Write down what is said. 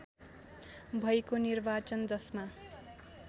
भएको निर्वाचन जसमा